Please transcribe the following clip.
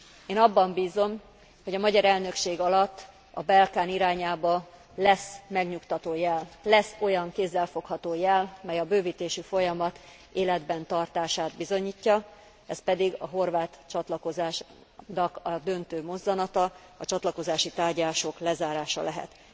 Én abban bízom, hogy a magyar elnökség alatt a Balkán irányába lesz olyan kézzel fogható jel, mely a bővítési folyamat életben tartását bizonyítja, ez pedig a horvát csatlakozásnak a döntő mozzanata, a csatlakozási tárgyalások lezárása lehet.